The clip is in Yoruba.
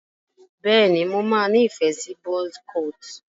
bẹ ní mọ má ní ìfẹ sí buzz cut.